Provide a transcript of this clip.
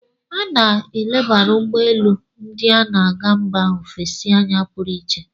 A na-elebara ugbọ elu ndị na-aga mba ofesi anya pụrụ iche.